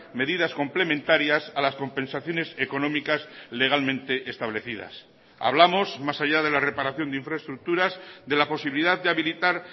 medidas complementarias a las compensaciones económicas legalmente establecidas hablamos más allá de la reparación de infraestructuras de la posibilidad de habilitar